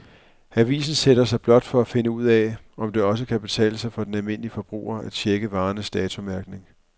Avisen sætter sig blot for at finde ud af, om det også kan betale sig for den almindelige forbruger at checke varernes datomærkning.